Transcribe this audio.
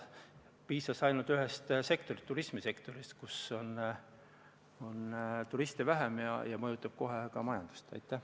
Piisas ainult ühest sektorist, turismisektorist – turiste on vähem –, ja kohe on majandus mõjutatud.